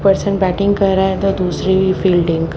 person batting कर रहा हैं तो दूसरी फील्डिंग --